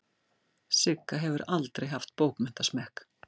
Sigga hefur aldrei haft bókmenntasmekk.